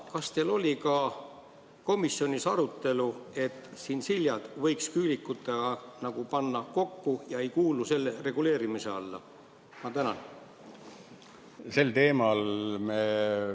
Kas teil oli komisjonis arutelu, et tšintšiljad võiks küülikutega kokku panna, nii et nad ei kuuluks selle reguleerimise alla?